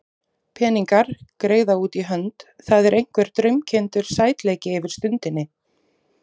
Peningar, greiða út í hönd, það er einhver draumkenndur sætleiki yfir stundinni.